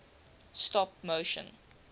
stop motion